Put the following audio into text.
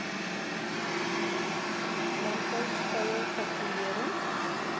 landbou skoue patrolering